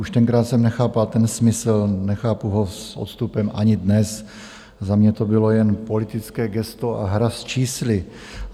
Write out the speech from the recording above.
Už tenkrát jsem nechápal ten smysl, nechápu ho s odstupem ani dnes, za mě to bylo jen politické gesto a hra s čísly.